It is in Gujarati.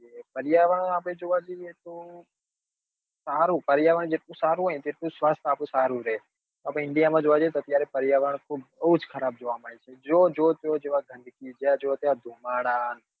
પર્ય્યાવરણ આપડે જોવા જઈએ તો સારું પર્યાવરણ જેટલું સારું હોય ને એટલું જ સ્વાસ્થ્ય આપડું સારું રહે આપડે india જોવા જઈએ તો અત્યારે પર્યાવરણ બઉ જ ખરાબ જોવા મળે છે જોર જોર જ્યાં જોઈએ ત્યાં ધુમાડા